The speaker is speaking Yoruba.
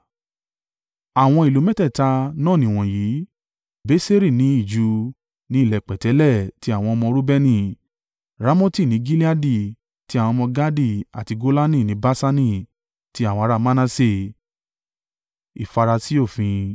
Àwọn ìlú mẹ́tẹ̀ẹ̀ta náà nìwọ̀nyí: Beseri ní ijù, ní ilẹ̀ pẹ̀tẹ́lẹ̀, tí àwọn ọmọ Reubeni; Ramoti ní Gileadi, ti àwọn ọmọ Gadi àti Golani ní Baṣani, ti àwọn ará Manase.